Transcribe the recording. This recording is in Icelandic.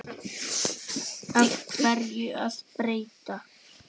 Af hverju að breyta?